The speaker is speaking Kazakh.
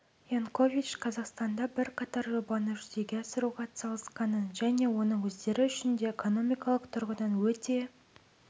янкович қазақстанда бірқатар жобаны жүзеге асыруға атсалысқанын және оның өздері үшін де экономикалық тұрғыдан өте